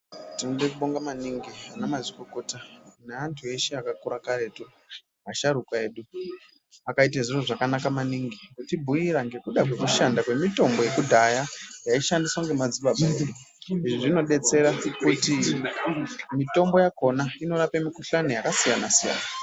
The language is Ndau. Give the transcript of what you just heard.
Tinode kubonga maningi anamazvikokota neantu eshe akakura karetu asharukwa edu akaite zviro zvakanaka maningi kutibhuira ngekuda kwekushanda kwemitombo yekudhaya yaishandiswa ngemadzibaba edu. Izvi zvinodetsera kuti mitombo yakona inorape mikuhlani yakasiyana siyana.